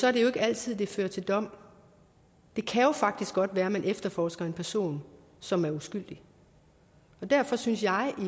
er det jo ikke altid det fører til dom det kan jo faktisk godt være man efterforsker en person som er uskyldig og derfor synes jeg at